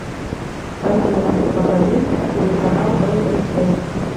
афина покажи телеканал бст